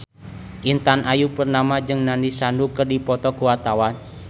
Intan Ayu Purnama jeung Nandish Sandhu keur dipoto ku wartawan